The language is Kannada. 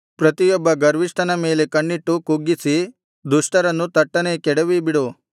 ಪ್ರತಿಯೊಬ್ಬ ಗರ್ವಿಷ್ಠನ ಮೇಲೆ ಕಣ್ಣಿಟ್ಟು ಕುಗ್ಗಿಸಿ ದುಷ್ಟರನ್ನು ತಟ್ಟನೆ ಕೆಡವಿಬಿಡು